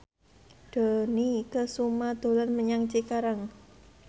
Dony Kesuma dolan menyang Cikarang